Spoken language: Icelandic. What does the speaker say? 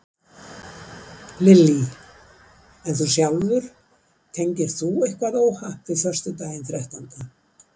Lillý: En þú sjálfur, tengir þú eitthvað óhapp við föstudaginn þrettánda?